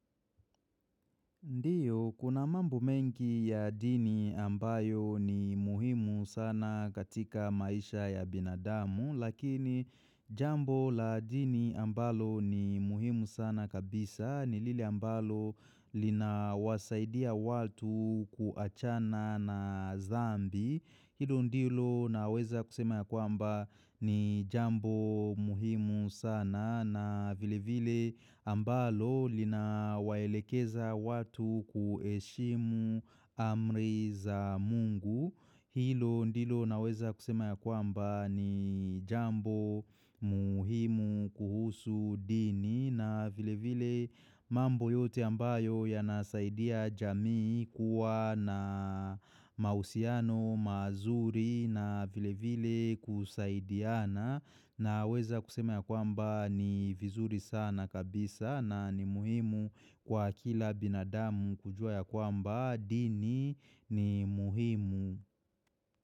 Ndiyo, kuna mambo mengi ya dini ambayo ni muhimu sana katika maisha ya binadamu, lakini jambo la dini ambalo ni muhimu sana kabisa, ni lile ambalo linawasaidia watu kuachana na zambi. Hilo ndilo naweza kusema ya kwamba ni jambo muhimu sana na vile vile ambalo lina waelekeza watu kueshimu amri za mungu. Hilo ndilo naweza kusema ya kwamba ni jambo muhimu kuhusu dini na vile vile mambo yote ambayo ya nasaidia jamii kuwa na mausiano mazuri na vile vile kusaidiana. Na weza kusema ya kwamba ni vizuri sana kabisa na ni muhimu kwa kila binadamu kujua ya kwamba dini ni muhimu.